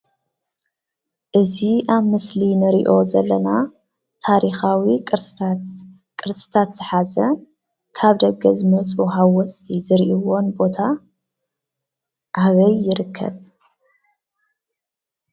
እዚ ኣብ ምስሊ እንሪኦ ዘለና ታሪኻዊ ቅርስታት ዝሓዘ ካብ ደገ ዝመፁ ሃወፅቲ ዝርኢዎን ቦታ ኣበይ ይርከብ?